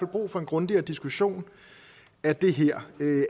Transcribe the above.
brug for en grundigere diskussion af det her